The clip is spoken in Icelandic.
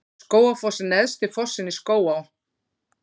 Skógafoss er neðsti fossinn í Skógaá.